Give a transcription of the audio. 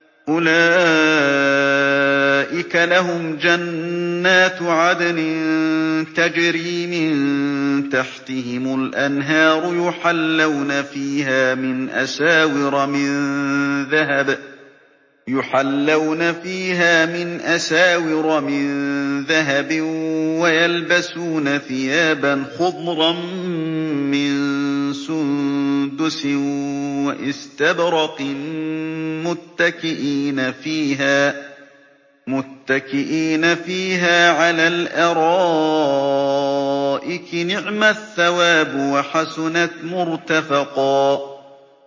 أُولَٰئِكَ لَهُمْ جَنَّاتُ عَدْنٍ تَجْرِي مِن تَحْتِهِمُ الْأَنْهَارُ يُحَلَّوْنَ فِيهَا مِنْ أَسَاوِرَ مِن ذَهَبٍ وَيَلْبَسُونَ ثِيَابًا خُضْرًا مِّن سُندُسٍ وَإِسْتَبْرَقٍ مُّتَّكِئِينَ فِيهَا عَلَى الْأَرَائِكِ ۚ نِعْمَ الثَّوَابُ وَحَسُنَتْ مُرْتَفَقًا